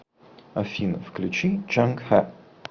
афина включи чанг ха